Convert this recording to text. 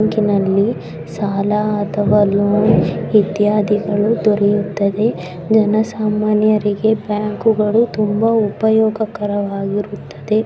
ಬ್ಯಾಂಕಿನಲ್ಲಿ ಸಾಲ ಅಥವಾ ಲೋನ್ ಇತ್ಯಾದಿಗಳು ದೊರೆಯುತ್ತವೆ ಜನಸಾಮಾನ್ಯರಿಗೆ ಬ್ಯಾಂಕುಗಳು ತುಂಬಾ ಉಪಯೋಗಕಾರವಾಗಿರುತ್ತದೆ.